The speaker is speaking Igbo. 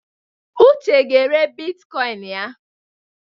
Uche ga-ere bitkoịn ya.